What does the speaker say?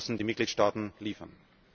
Da müssen die Mitgliedstaaten liefern.